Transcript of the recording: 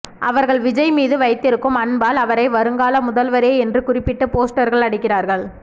அவர்கள் விஜய் மீது வைத்திருக்கும் அன்பால் அவரை வருங்கால முதல்வரே என்று குறிப்பிட்டு போஸ்டர்கள் அடிக்கிறார்கள்